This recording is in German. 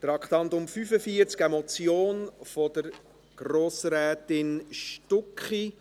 Das Traktandum 45 ist eine Motion von Grossrätin Stucki.